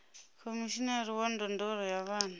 khomishinari wa ndondolo ya vhana